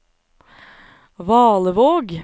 Valevåg